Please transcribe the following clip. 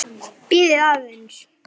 Bíðið aðeins!